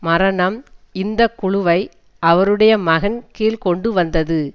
மரணம் இந்த குழுவை அவருடைய மகன் கீழ் கொண்டுவந்தது